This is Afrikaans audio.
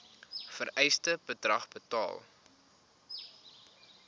vereiste bedrag betaal